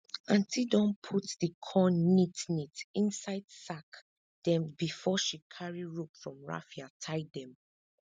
aunti don put di corn neat neat inside sack dem before she carry rope from raffia tie dem